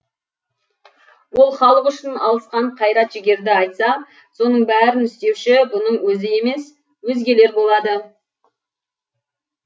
ол халық үшін алысқан қайрат жігерді айтса соның бәрін істеуші бұның өзі емес өзгелер болады